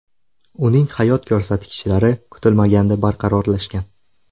Uning hayot ko‘rsatkichlari kutilmaganda barqarorlashgan.